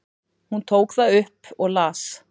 Hún tók það upp og las.